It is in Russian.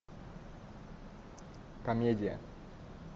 комедия